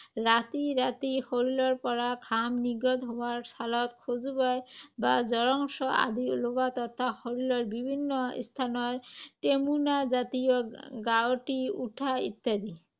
ৰাতি ৰাতি শৰীৰৰ পৰা ঘাম নিৰ্গত হোৱা, ছালত খজুৱাই বা জ্বৰাংশ আদি ওলোৱা তথা শৰীৰৰ বিভিন্ন স্থানত টেমুনাজাতীয় গাঙঠি উঠা ইত্যাদি।